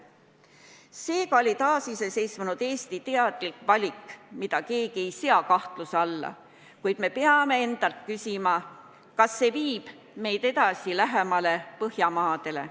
Seega oli see taasiseseisvunud Eesti teadlik valik, mida keegi ei sea kahtluse alla, kuid peame endalt küsima, kas see viib meid edasi lähemale Põhjamaadele.